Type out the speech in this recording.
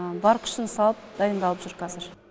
бар күшін салып дайындалып жүр қазір